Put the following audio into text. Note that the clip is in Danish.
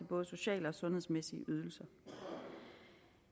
både sociale og sundhedsmæssige ydelser